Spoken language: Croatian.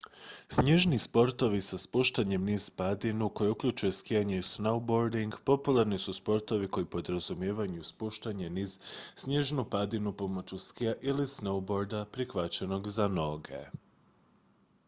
snježni sportovi sa spuštanjem niz padinu koji uključuju skijanje i snowboarding popularni su sportovi koji podrazumijevaju spuštanje niz snježnu padinu pomoću skija ili snowboarda prikvačenog za noge